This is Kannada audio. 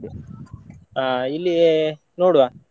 ಹಾ ಇಲ್ಲಿ ನೋಡ್ವಾ.